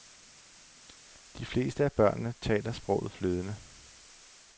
De fleste af børnene taler sproget flydende.